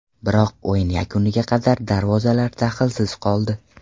Biroq o‘yin yakuniga qadar darvozalar dahlsiz qoldi.